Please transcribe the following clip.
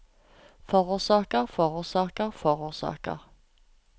forårsaker forårsaker forårsaker